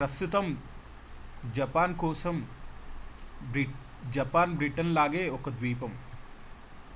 ప్రస్తుతం జపాన్ కోసం Japan Britain లాగే ఒక ద్వీపం